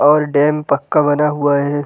और डैम पक्का बना हुआ है।